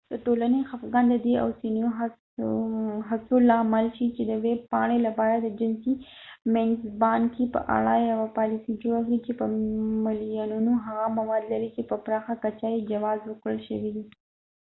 د ټولنې خفګان د د دې اوسنيو هڅو لامل شو چې د ويب پاڼې لپاره د جنسي مینځپانګې په اړه يوه پالیسي جوړه کړي چې په ملیونونو هغه مواد لري چې په پراخه کچه يې جواز ورکړل شوی دی